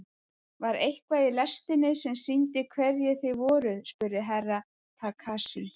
Var eitthvað í lestinni sem sýndi hverjir þið voruð spurði Herra Takashi.